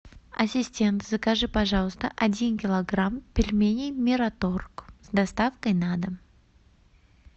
ассистент закажи пожалуйста один килограмм пельменей мираторг с доставкой на дом